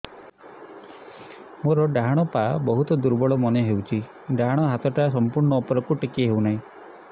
ମୋର ଡାହାଣ ପାଖ ବହୁତ ଦୁର୍ବଳ ମନେ ହେଉଛି ଡାହାଣ ହାତଟା ସମ୍ପୂର୍ଣ ଉପରକୁ ଟେକି ହେଉନାହିଁ